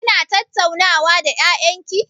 Kina tattaunawa da ƴaƴan ki?